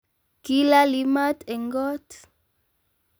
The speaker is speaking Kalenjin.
Kilaali maat eng koot